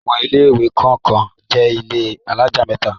Àwọn ilé-ìwé kọ̀ọ̀kan jẹ́ ilé alájà mẹ́ta.